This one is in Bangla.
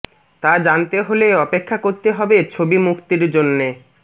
তা জানতে হলে অপেক্ষা করতে হবে ছবি মুক্তির জন্যে